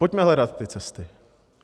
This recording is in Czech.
Pojďme hledat ty cesty.